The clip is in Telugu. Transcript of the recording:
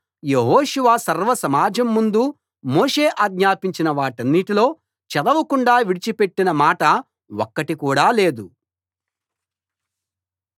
యెహోషువ సర్వసమాజం ముందు మోషే ఆజ్ఞాపించిన వాటన్నిటిలో చదవకుండా విడిచిపెట్టిన మాట ఒక్కటి కూడా లేదు